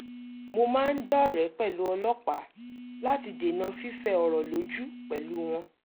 mo máa ń dọ́rẹ̀ẹ́ pẹ̀lú ọlọ́pàá láti dènà fífẹ ọ̀rọ̀ lójú pẹ̀lú wọn